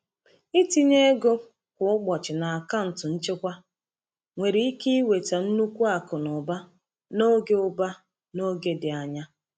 Ịtinye ego kwa ụbọchị n’akaụntụ nchekwa nwere ike iweta nnukwu akụ na ụba n’oge ụba n’oge dị anya.